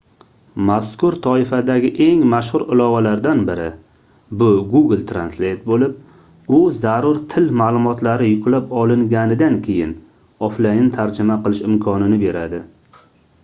mazkur toifadagi eng mashhur ilovalardan biri bu google translate boʻlib u zarur til maʼlumotlari yuklab olinganidan keyin oflayn tarjima qilish imkonini beradi